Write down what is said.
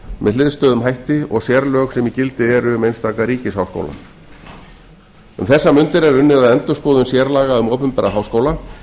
með hliðstæðum hætti og sérlög sem í gildi eru um einstaka ríkisháskóla um þessar mundir er unnið að endurskoðun sérlaga um opinbera háskóla